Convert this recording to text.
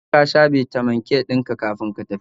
Ka tabbatar kasha Bitamin K dinka kafin ka tafi